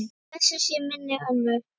Blessuð sé minning ömmu.